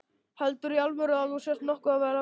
Heldurðu í alvöru að þú sért nokkuð að verða veik.